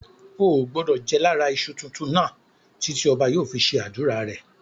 Ò gbọdọ̀ jẹ lára iṣu tuntun náà títí ọba yóò fi ṣe ádùrá rẹ̀.